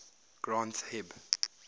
granth hib